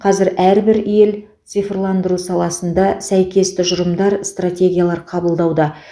қазір әрбір ел цифрландыру саласында сәйкес тұжырымдар стратегиялар қабылдауда